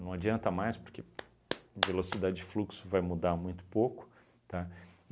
Não adianta mais porque a velocidade de fluxo vai mudar muito pouco, tá?